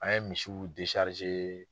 An ye misiw